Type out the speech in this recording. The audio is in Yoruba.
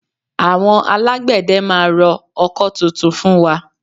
Àwọn Alágbẹ̀dẹ máa rọ ọkọ́ tuntun fún wa